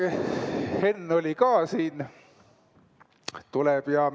Henn oli ka siin, tuleb ...